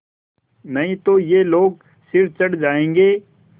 नहीं तो ये लोग सिर चढ़ जाऐंगे